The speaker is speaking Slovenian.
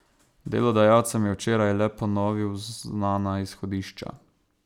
Delodajalcem je včeraj le ponovil znana izhodišča.